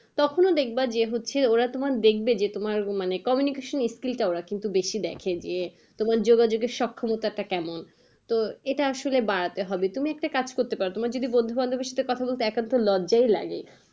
তখন দেখবা যে হচ্ছে ওরা তোমার দেখবে যে তোমার মানে communication skill টা ওরা কিন্তু বেশি দেখে যে, তোমার যোগাযোগের সক্ষমতা টা কেমন তো এটা আসলে বাড়াতে হবে তুমি একটা কাজ করতে পারো। তোমার যদি বন্ধু বান্ধব দের সাথে কথা বলতে একান্তই লজ্জাই লাগে